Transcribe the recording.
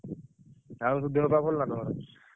ଆଉ ସବୁ ଦେହ ପାହ ଭଲ ନା ତମର?